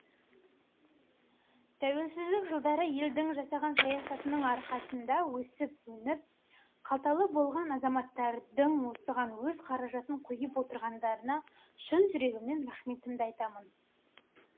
тәуелсіздік жылдары елдің жасаған саясатының арқасында өсіп өніп қалталы болған азаматтардың осыған өз қаражатын құйып отырғандарына шын жүрегімнен рахметімді айтамын